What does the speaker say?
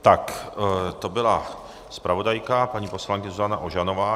Tak to byla zpravodajka paní poslankyně Zuzana Ožanová.